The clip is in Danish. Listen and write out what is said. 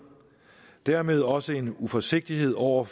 dermed også en uforsigtighed over